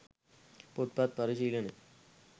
පොත්පත් පරිශීලනය